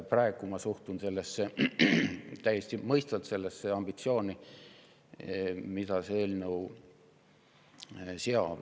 Praegu ma suhtun sellesse ambitsiooni, mida see eelnõu seab, täiesti mõistvalt.